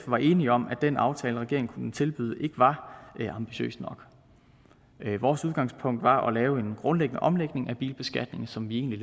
var enige om at den aftale regeringen kunne tilbyde ikke var ambitiøs nok vores udgangspunkt var at lave en grundlæggende omlægning af bilbeskatningen som vi egentlig